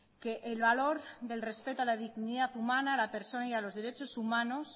que el valor del respeto a la dignidad humana la persona y a los derechos humanos